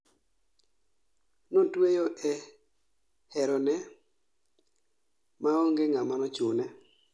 Notweyo e herone ma onge ng'ama nochune